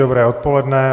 Dobré odpoledne.